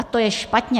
A to je špatně.